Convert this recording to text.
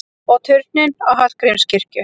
Og turninn á Hallgrímskirkju!